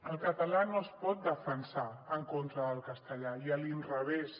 el català no es pot defensar en contra del castellà ni a l’inrevés